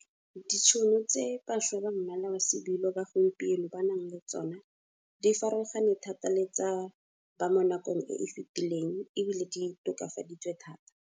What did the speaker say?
Ditšhono tse bašwa ba mmala wa sebilo ba gompieno ba nang le tsona di farologane thata le tsa ba mo nakong e efetileng e bile di tokafaditswe thata.